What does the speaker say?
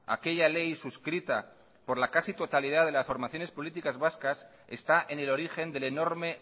aquella ley suscrita por la casi totalidad de las formaciones políticas vascas está en el origen del enorme